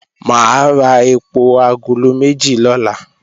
Mà á ra èpò agolo méjì lọ́la